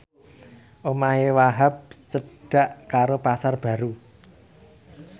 omahe Wahhab cedhak karo Pasar Baru